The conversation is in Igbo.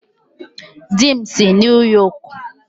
Di m si New York